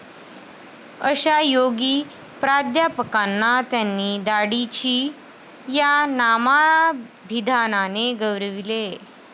अशा त्यागी प्राध्यापकांना त्यांनी 'दाढीची' या नामाभिधानाने गौरविले.